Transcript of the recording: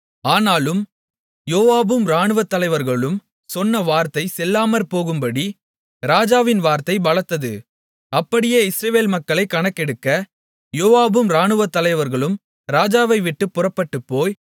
ஆனாலும் யோவாபும் இராணுவத்தலைவர்களும் சொன்ன வார்த்தை செல்லாமற்போகும்படி ராஜாவின் வார்த்தை பலத்தது அப்படியே இஸ்ரவேல் மக்களைக் கணக்கெடுக்க யோவாபும் இராணுவத்தலைவர்களும் ராஜாவைவிட்டுப் புறப்பட்டுப்போய்